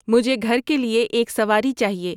مجھے گھر کے لئے ایک سواری چاہئے